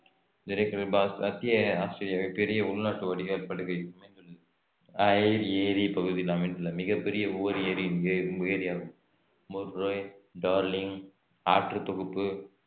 மத்திய ஆஸ்திரேலியா பெரிய உள்நாட்டு வடிகால் படுகை அமைந்துள்ளது ஐர் ஏரி இப்பகுதியில் அமைந்துள்ள மிகப் பெரிய உவர் ஏரி இங்கே ஏரியாகும் முர்ரே டார்லிங் ஆற்று தொகுப்பு